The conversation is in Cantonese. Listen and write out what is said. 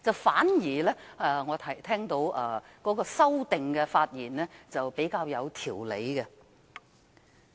反之，我聽到提出修正案的議員的發言則比較有條理。